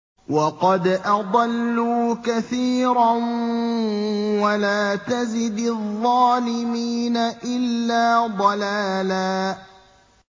وَقَدْ أَضَلُّوا كَثِيرًا ۖ وَلَا تَزِدِ الظَّالِمِينَ إِلَّا ضَلَالًا